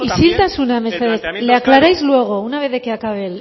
caso del planteamiento isiltasuna mesedez le aclaráis luego una vez de que acaba